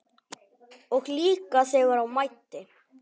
Og líka þegar á mæddi.